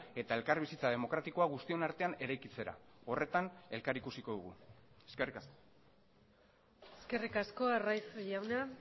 eta elkarbizitza demokratikoa guztion artean eraikitzera horretan elkar ikusiko dugu eskerrik asko eskerrik asko arraiz jauna